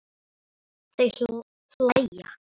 Þau hlæja.